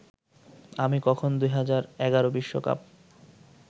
আমি কখন ২০১১ বিশ্বকাপ